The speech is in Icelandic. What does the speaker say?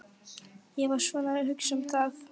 Ég var svona að hugsa um það.